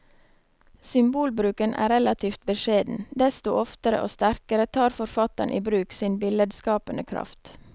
Symbolbruken er relativt beskjeden, desto oftere og sterkere tar forfatteren i bruk sin billedskapende kraft.